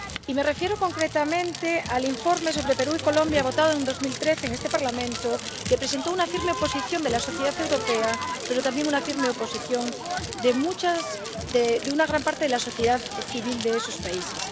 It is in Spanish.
Me refiero concretamente al informe sobre Perú y Colombia votado en 2013 en este Parlamento, que suscitó una firme oposición de la sociedad europea, pero también una firme oposición de una gran parte de la sociedad civil de esos países.